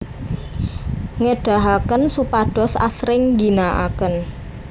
ngedahaken supados asring ngginaaken